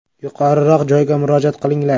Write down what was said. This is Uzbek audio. “Yuqoriroq joyga murojaat qilinglar”.